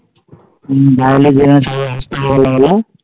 হম